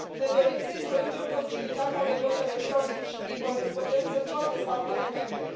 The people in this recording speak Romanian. Ne dorim să introducem posibilitatea de vot electronic și prin corespondență în toate statele membre.